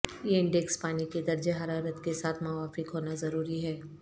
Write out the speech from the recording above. یہ انڈیکس پانی کے درجہ حرارت کے ساتھ موافق ہونا ضروری ہے